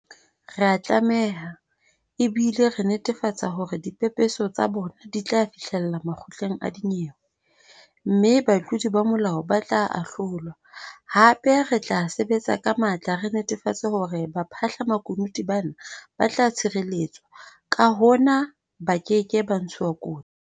Re a tlameha, ebile re netefatsa hore dipepeso tsa bona di tla fihlella makgotleng a dinyewe, mme batlodi ba molao ba tla ahlolwa, hape re tla sebetsa ka matla re netafatsa hore baphahla-makunutu bana ba tla tshireletswa, ka hona ba keke ba ntshuwa kotsi.